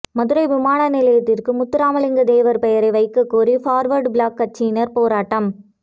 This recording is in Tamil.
மதுரை விமான நிலையத்திற்கு முத்துராமலிங்க தேவர் பெயரை வைக்கக்கோரி பார்வர்டு பிளாஃக் கட்சியினர் போராட்டம்